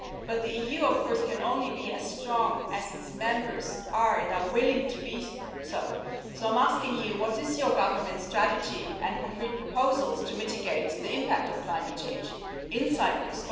But the EU can only be as strong as its members are and are willing to be so I'm asking you what is your government strategy and concrete proposals to mitigate the impact of climate change in Cyprus?